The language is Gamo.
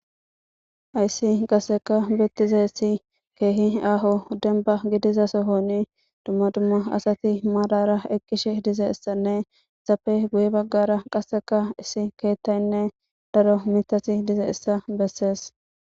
ayssi qaseka bettize issi keehi aaho denba gidiza sohoni dumma dumma asati maadara eqqishe dize issanne zappe guye baggara qaseka issi keettaynne daro mitati dize issa bessees